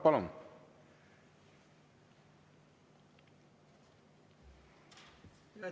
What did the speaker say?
Palun!